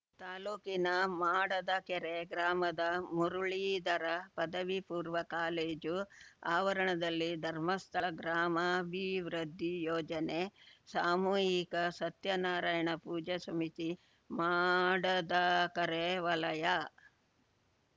ತಾಲೂಕಿನ ಮಾಡದಕೆರೆ ಗ್ರಾಮದ ಮುರುಳೀಧರ ಪದವಿ ಪೂರ್ವ ಕಾಲೇಜು ಆವರಣದಲ್ಲಿ ಧರ್ಮಸ್ಥಳ ಗ್ರಾಮಾಭಿವೃದ್ಧಿ ಯೋಜನೆ ಸಾಮೂಹಿಕ ಸತ್ಯನಾರಾಯಣ ಪೂಜಾ ಸಮಿತಿ ಮಾಡದಕರೆ ವಲಯ